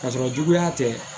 Ka sɔrɔ juguya tɛ